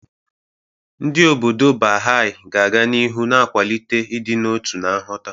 Ndị obodo Baha'i ga-aga n'ihu na-akwalite ịdị n'otu na nghọta.